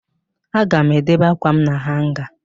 Aga m edebe ákwàm na hanga